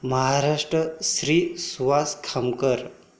Maharashtra Shri Suhas Khamkar